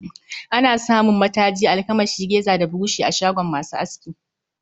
Ana samun mataji, almakashi, reza da burushi a shagon masu aski